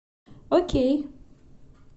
окей